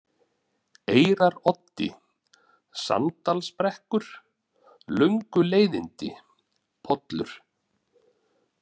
Eyraroddi, Sanddalsbrekkur, Lönguleiðindi, Pollur